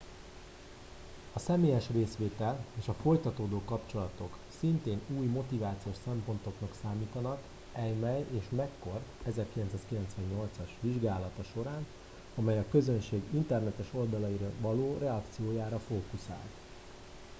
"a személyes részvétel" és a folytatódó kapcsolatok" szintén új motivációs szempontoknak számítottak eighmey és mccord 1998-as vizsgálata során amely a közönség internetes oldalaira való reakciójára fókuszált.